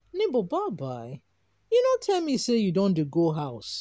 nebor bye you no tell me sey you don dey go house.